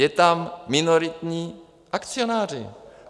Jsou tam minoritní akcionáři.